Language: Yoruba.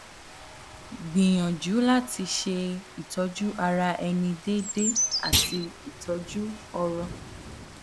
gbìyànjú láti ṣe ìtọjú ara ẹni déédéé àti ìtọjú ọrọ